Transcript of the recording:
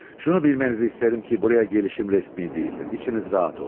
Şunu bilmənizi istərəm ki, buraya gəlişim rəsmi deyildir, içiniz rahat olsun.